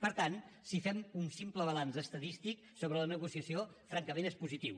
per tant si fem un simple balanç estadístic sobre la negociació francament és positiu